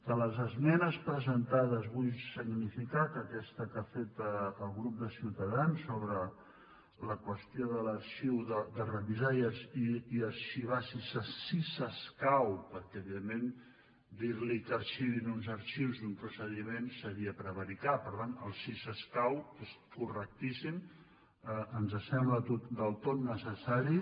de les esmenes presentades vull significar que aquesta que ha fet el grup de ciutadans sobre la qüestió de revisar i arxivar si escau perquè evidentment dirli que arxivin uns arxius d’un procediment seria prevaricar per tant el si escau és correctíssim ens sembla del tot necessari